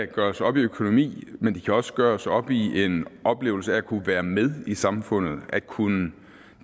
kan gøres op i økonomi men de kan også gøres op i en oplevelse af at kunne være med i samfundet at kunne